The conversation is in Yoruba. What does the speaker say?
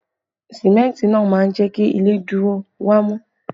Símẹ́ntì náà máa ń jẹ kí ilé dúró wámú